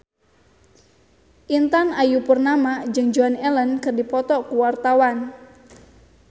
Intan Ayu Purnama jeung Joan Allen keur dipoto ku wartawan